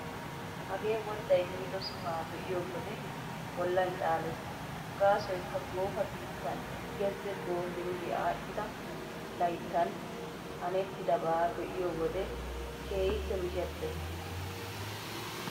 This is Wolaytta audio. Hagee wodday miido sohaa be'iyo wode bollan caalees. Gaasoykka goofa biittan gezze goofing aadhdhida layttan hanettidabaa be'iyo wode keehippe mishettees.